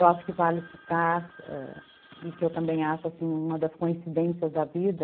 Eu acho que vale citar ãh, e que eu também acho uma das coincidências da vida,